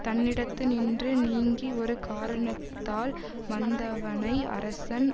தன்னிடத்தினின்று நீங்கி ஒரு காரணத்தால் வந்தவனை அரசன்